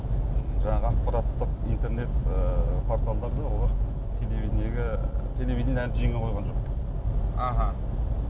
жаңағы ақпараттық интернет і порталдары да олар телевидениеге телевидениені әлі жеңе қойған жоқ аха